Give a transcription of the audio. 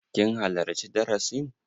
Kin halarci darasin?